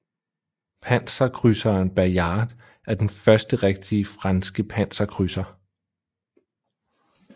Panserkrydseren Bayard er den første rigtige franske panserkrydser